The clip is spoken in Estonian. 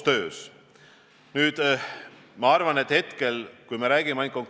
Aga selge see, et kui rääkida laiemalt, siis loomulikult tuleb anda konkreetsed selged sõnumid, kuidas meetmeid rakendada.